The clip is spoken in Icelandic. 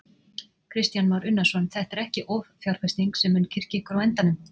Kristján Már Unnarsson: Þetta er ekki offjárfesting sem mun kyrkja ykkur á endanum?